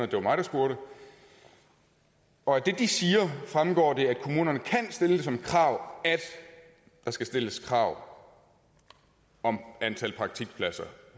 det var mig der spurgte og af det de siger fremgår det at kommunerne kan stille som krav at der skal stilles krav om antal praktikpladser